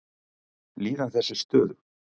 Líðan þess er stöðug.